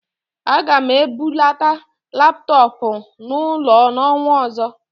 Aga m ebulata laptọọpụ n'ụlọ n'ọnwa ọzọ